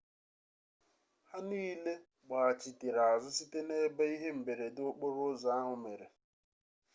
ha niile gbaghachitere azụ site na ebe ihe mberede okporo ụzọ ahụ mere